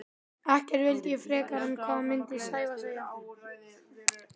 Ekkert vildi ég frekar en hvað myndi Sævar segja?